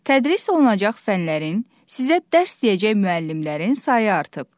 Tədris olunacaq fənlərin, sizə dərs deyəcək müəllimlərin sayı artıb.